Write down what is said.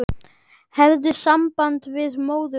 Hefurðu samband við móður þína?